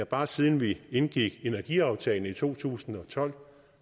bare siden vi indgik energiaftalen i to tusind og tolv